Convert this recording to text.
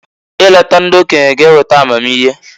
I leta ndị okenye g'eweta amamihe.